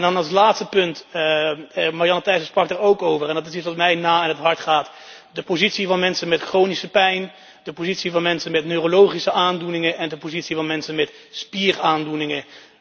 En dan als laatste punt, Marianne Thyssen sprak daar ook over en het is iets wat mij na aan het hart ligt de positie van mensen met chronische pijn, de positie van mensen met neurologische aandoeningen en de positie van mensen met spieraandoeningen.